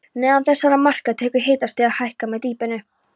Neðan þessara marka tekur hitastigið að hækka með dýpinu.